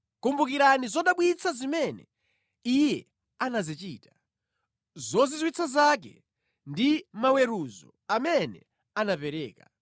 Kumbukirani zodabwitsa zimene Iye anazichita, zozizwitsa zake ndi maweruzo amene anapereka,